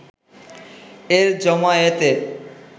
এর জমায়েতে